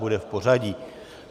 Bude v pořadí.